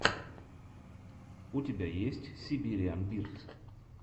у тебя есть сибириан бирд